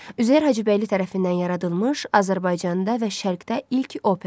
Üzeyir Hacıbəyli tərəfindən yaradılmış Azərbaycanda və Şərqdə ilk opera.